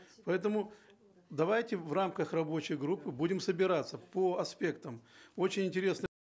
поэтому давайте в рамках рабочей группы будем собираться по аспектам очень интересно